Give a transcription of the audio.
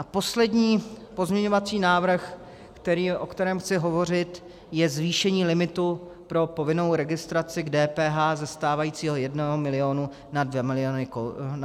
A poslední pozměňovací návrh, o kterém chci hovořit, je zvýšení limitu pro povinnou registraci k DPH ze stávajícího 1 milionu na 2 miliony korun.